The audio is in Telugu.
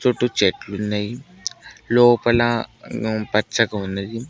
చుట్టూ చెట్లు ఉన్నాయ్ లోపల పచ్చగా ఉన్నది.